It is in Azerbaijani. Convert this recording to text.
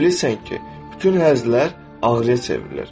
Sən də bilirsən ki, bütün həzlər ağrıya çevrilir.